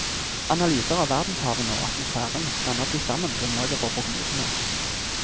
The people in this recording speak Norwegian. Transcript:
Analyser av verdenshavene og atmosfæren danner til sammen grunnlaget for prognosene.